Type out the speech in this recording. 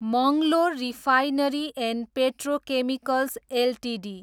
Mangalore refinery and petrochemicals Ltd